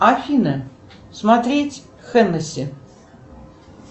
афина смотреть хеннесси